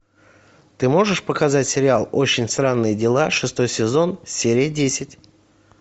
ты можешь показать сериал очень странные дела шестой сезон серия десять